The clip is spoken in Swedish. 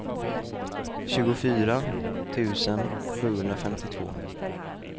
tjugofyra tusen sjuhundrafemtiotvå